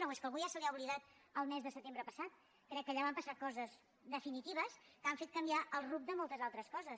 o és que a algú ja se li ha oblidat el mes de setembre passat crec que allà van passar coses definitives que han fet canviar el rumb de moltes altres coses